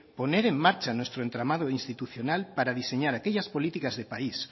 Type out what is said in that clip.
poner en marcha nuestro entramado institucional para diseñar aquellas políticas de país